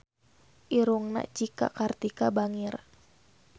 Irungna Cika Kartika bangir